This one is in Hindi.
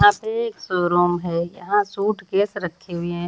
यहाँ पे एक शोरूम है यहाँ सूटकेस रखे हुए हैं।